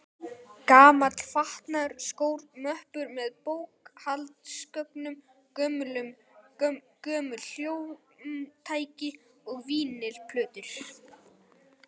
Gamall fatnaður, skór, möppur með bókhaldsgögnum, gömul hljómtæki og vínyl-plötur.